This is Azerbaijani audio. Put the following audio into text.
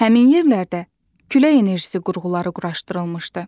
Həmin yerlərdə külək enerjisi qurğuları quraşdırılmışdı.